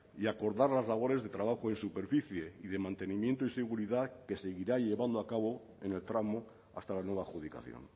y acordar las labores de trabajo en superficie y de mantenimiento y seguridad que seguirá llevando a cabo en el tramo hasta la nueva adjudicación